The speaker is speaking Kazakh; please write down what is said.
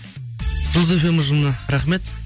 жұлдыз фм ұжымына рахмет